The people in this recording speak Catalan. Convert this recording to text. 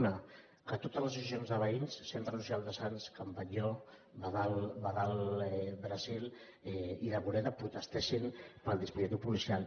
un que totes les associacions de veïns centre social de sants can batlló badal brasil i la bordeta protestessin pel dispositiu policial